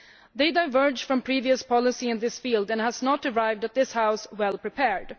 They diverge from previous policy in this field and have not arrived at this House well prepared.